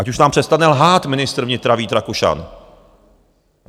Ať už nám přestane lhát ministr vnitra Vít Rakušan.